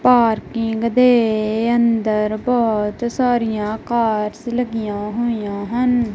Parking ਦੇ ਅੰਦਰ ਬਹੁਤ ਸਾਰੀਆਂ ਕਾਰਸ ਲੱਗੀਆਂ ਹੋਈਆਂ ਹਨ।